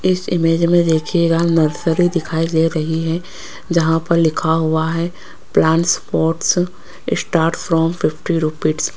इस इमेज में देखिएगा नर्सरी दिखाई दे रही है जहां पर लिखा हुआ है plants pots start on fifty.